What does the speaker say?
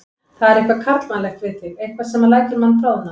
Það er eitthvað karlmannlegt við þig, eitthvað sem lætur mann bráðna.